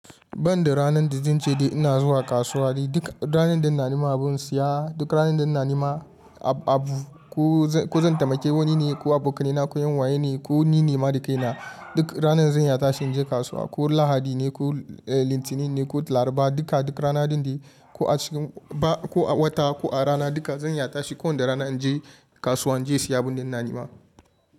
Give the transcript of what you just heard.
Banda ranar da zan ce ina zuwa kasuwa, duk ranar da na nema abin saya, duk ranar da na nema abu, ko zan taimake wani ne ko abu ka ni na koyan waye ne ko ni ne ma da kai na, duk ranar zan ya tashi in je kasuwa. Ko Lahadi ne ko Litinin ne ko laraba, duka duk rana duk rana ko a cikin ba ko a wata ko a rana duka zanyi ya tashi. Ko wanda rana in je kasuwa in je siya abun da na nema.